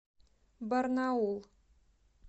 барнаул